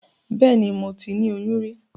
Bẹ́ẹ̀ni, moti ni oyún rí.